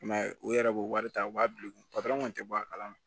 I m'a ye u yɛrɛ b'o wari ta u b'a bila u kun kun te bɔ a kalama